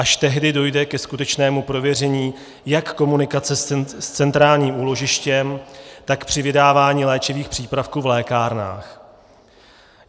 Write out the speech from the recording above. Až tehdy dojde ke skutečnému prověření jak komunikace s centrálním úložištěm, tak při vydávání léčivých přípravků v lékárnách.